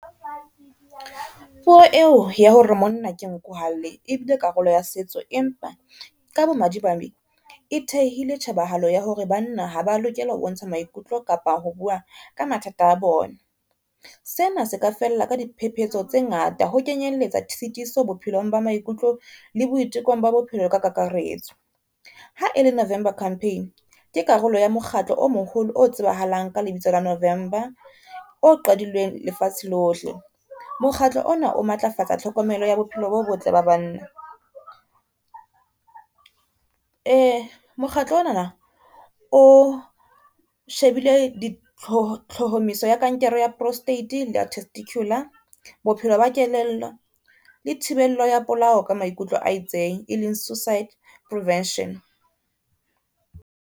Puo eo ya hore monna ke nku ha lle, e bile karolo ya setso, empa ka bo madimabe e thehile tjhebahalo ya hore banna ha ba lokela ho bontsha maikutlo kapa ho bua ka mathata a bona. Sena se ka fella ka diphephetso tse ngata ho kenyelletsa tshitiso bophelong ba maikutlo le boitekong ba bophelo ka kakaretso. Ha e le November campaign ke karolo ya mokgatlo o moholo, o tsebahalang ka lebitso la Movember, o qadilweng lefatshe lohle. Mokgatlo ona o matlafatsa tlhokomelo ya bophelo bo botle ba banna. Mokgatlo ona na o shebile ditlohomiso ya kankere ya prostate le ya testiculare, bophelo ba kelello le thibello ya polao ka maikutlo a itseng e leng suicide prevention.